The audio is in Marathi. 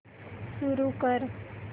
सुरू कर